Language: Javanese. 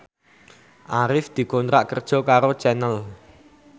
Arif dikontrak kerja karo Channel